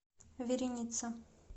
вереница